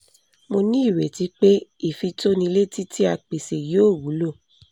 mo ní ìrètí pé ìfitónilétí tí a pèsè yóò wúlò